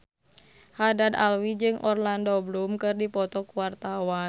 Haddad Alwi jeung Orlando Bloom keur dipoto ku wartawan